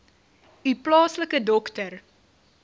u plaaslike dokter